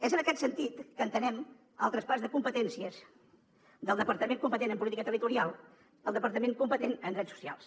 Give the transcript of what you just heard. és en aquest sentit que entenem el traspàs de competències del departament competent en política territorial al departament competent en drets socials